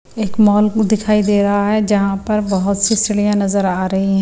एक मॉल को दिखाई दे रहा है जहां पर बहुत सी सिड़ियां नजर आ रही हैं।